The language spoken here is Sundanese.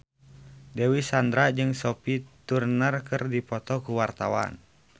Dewi Sandra jeung Sophie Turner keur dipoto ku wartawan